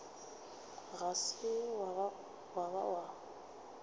ga se wa ba wa